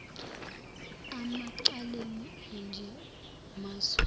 emacaleni anje kumazwe